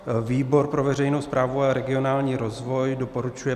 Výbor pro veřejnou správu a regionální rozvoj doporučuje